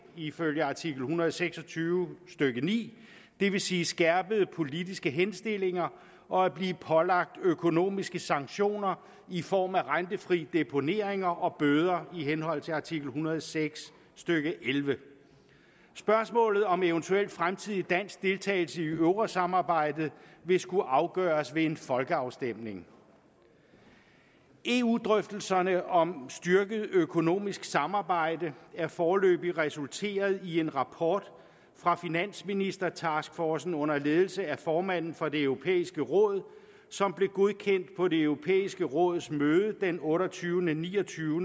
ifølge artikel en hundrede og seks og tyve stykke ni det vil sige skærpede politiske henstillinger og at blive pålagt økonomiske sanktioner i form af rentefri deponeringer og bøder i henhold til artikel en hundrede og seks stykke ellevte spørgsmålet om eventuel dansk fremtidig deltagelse i eurosamarbejdet vil skulle afgøres ved en folkeafstemning eu drøftelserne om styrket økonomisk samarbejde er foreløbig resulteret i en rapport fra finansministertaskforcen under ledelse af formanden for det europæiske råd som blev godkendt på det europæiske rådsmøde den otteogtyvende ni og tyve